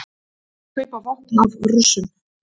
Kaupa vopn af Rússum